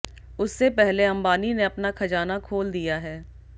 उससे पहले अंबानी ने अपना खजाना खोल दिया है